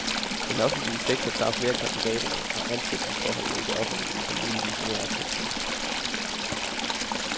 Den offentlige sektor tager flere af kandidaterne, og ansættelsesforholdene i det offentlige er muligvis mere attraktive.